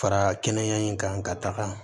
Fara kɛnɛya in kan ka taga